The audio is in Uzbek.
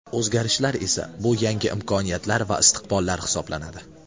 O‘zgarishlar esa bu yangi imkoniyatlar va istiqbollar hisoblanadi.